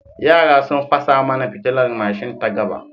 Yara sun fasa mana fitilar mashin ta gaba.